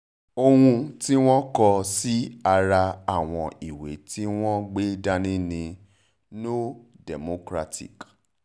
ohun tí wọ́n kọ sí ara àwọn ìwé tí wọ́n gbé dání ni no democratic